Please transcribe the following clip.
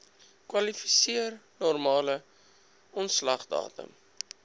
kwalifiseer normale ontslagdatum